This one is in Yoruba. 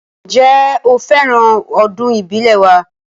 Ǹjẹ́, ó fẹ́ràn ọdún ìbílẹ̀ wa